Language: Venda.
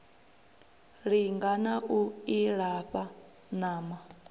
linga na u ilafha ṋama